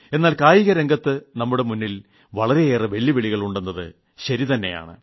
എന്നാൽ കായികരംഗത്ത് നമ്മുടെ മുന്നിൽ വളരെയേറെ വെല്ലുവിളികൾ ഉണ്ടെന്നത് ശരിതന്നെ